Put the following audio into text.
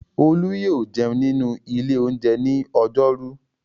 Olú yóò jẹun nínú ilé-oúnjẹ ní ọjọ́rú.